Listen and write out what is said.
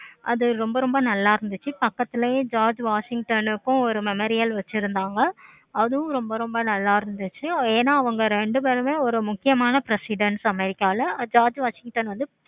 அது ரொம்ப ரொம்ப நல்ல இருந்துச்சி. பக்கத்துலயே george washington க்கு memorial வச்சிருந்தாங்க. அதுவும் ரொம்ப ரொம்ப நல்ல இருந்துச்சி. ஏன அவங்க ரெண்டு பேருமே ஒரு முக்கியமான presidence america ல george washington